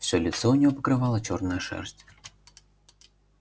всё лицо у неё покрывала чёрная шерсть